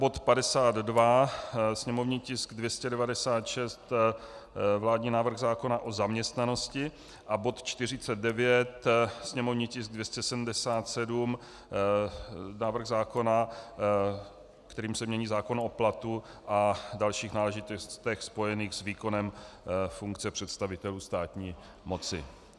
Bod 52, sněmovní tisk 296, vládní návrh zákona o zaměstnanosti, a bod 49, sněmovní tisk 277, návrh zákona, kterým se mění zákon o platu a dalších náležitostech spojených s výkonem funkce představitelů státní moci.